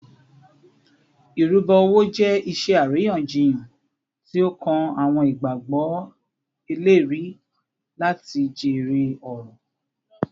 Irubo owo jẹ iṣe ariyanjiyan ti o kan awọn igbagbọ eleri lati jere ọrọ